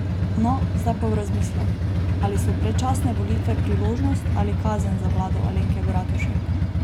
No, zdaj pa v razmislek, ali so predčasne volitve priložnost ali kazen za vlado Alenke Bratušek?